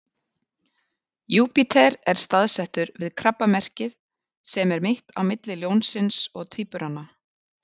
júpíter er staðsettur við krabbamerkið sem er mitt á milli ljónsins og tvíburana